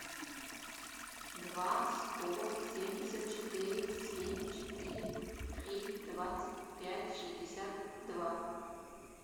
два сто семьдесят четыре семь четыре три двадцать пять шестьдесят два